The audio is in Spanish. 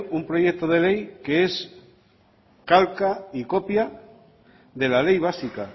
un proyecto de ley que es calca y copia de la ley básica